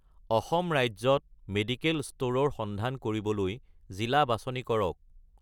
অসম ৰাজ্যত মেডিকেল ষ্ট'ৰৰ সন্ধান কৰিবলৈ জিলা বাছনি কৰক